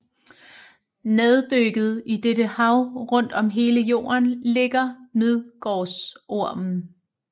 Neddykket i dette hav rundt om hele Jorden ligger Midgårdsormen